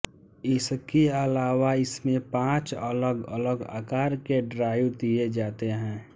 इसके अलावा इसमें पाँच अलग अलग आकार के ड्राइव दिये जाते हैं